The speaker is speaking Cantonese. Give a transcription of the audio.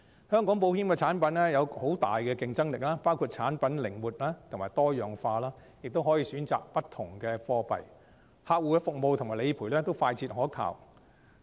香港保險產品有很大的競爭力，包括產品靈活及多樣化，亦容許選擇不同的貨幣，客戶服務及理賠都快捷可靠。